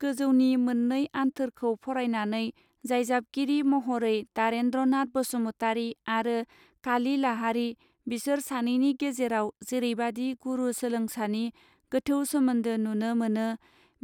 गोजौनि मौननै आन्थोरखौ फरायनानै जायजाबगिरि महरै दारेंद्र नाथ बसुमतारी आरो काली लाहारी बिसोर सानैनि गेजेराव जेरैबादि गुरू सोलोंसानि गोथौ सोमोन्दो नुनो मोनो